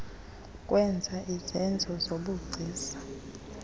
kwenza izenzo zobugcisa